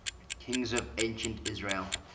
kings of ancient israel